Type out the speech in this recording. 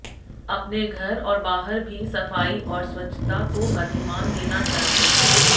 अपने घर और बाहर भी सफाई और स्वच्छता को अधिमान देना चाहिए